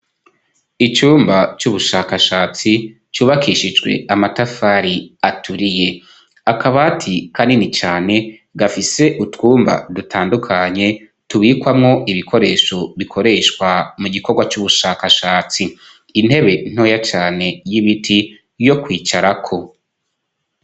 Icumba c'ubushakashatsi cubakishijwe amatafari aturiye akabati kanini cane gafise utwumba dutandukanye tubikwamo ibikoresho bikoreshwa mu gikorwa c'ubushakashatsi intebe ntoya cane y'ibiti yo kwicarako.